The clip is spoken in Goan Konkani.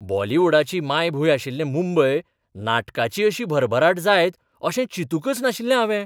बॉलिवूडाची मायभूंय आशिल्ले मुंबय नाटकाची अशी भरभराट जायत अशें चिंतूंकच नाशिल्लें हावें.